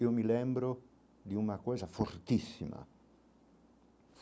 Eu me lembro de uma coisa fortíssima.